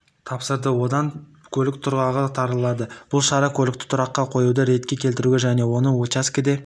тапсырды сонда көлік тұрағы тарылады бұл шара көлікті тұраққа қоюды ретке келтіруге және осы уачскеде